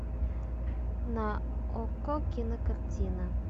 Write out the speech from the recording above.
на окко кинокартина